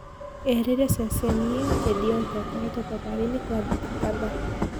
Erire ceceni iyo ati Deontay akoretwo thabari-ini gwa thikũ kadhaa.